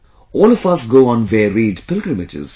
All of us go on varied pilgrimages